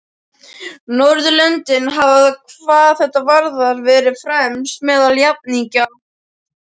Norðurlöndin hafa hvað þetta varðar verið fremst meðal jafningja.